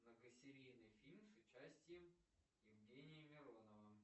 многосерийный фильм с участием евгения миронова